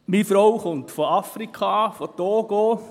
Meine Frau kommt aus Afrika, aus dem Togo.